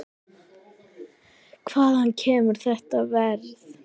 Hvaðan kemur þetta verð?